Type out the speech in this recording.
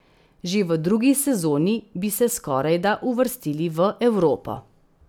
Že v drugi sezoni bi se skorajda uvrstili v Evropo.